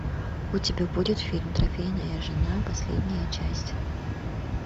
у тебя будет фильм трофейная жена последняя часть